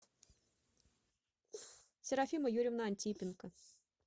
серафима юрьевна антипенко